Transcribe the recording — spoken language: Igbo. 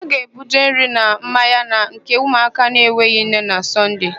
Ha ga-ebuje nri na mmanya na nke ụmụaka enweghị nne na Sọnde.